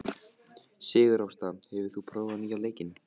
Sigurásta, hefur þú prófað nýja leikinn?